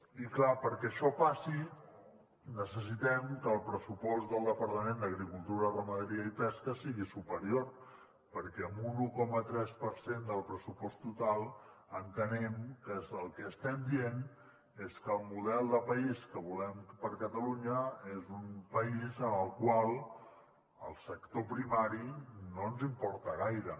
i clar perquè això passi necessitem que el pressupost del departament d’agricultura ramaderia i pesca sigui superior perquè amb un un coma tres per cent del pressupost total entenem que el que estem dient és que el model de país que volem per a catalunya és un país en el qual el sector primari no ens importa gaire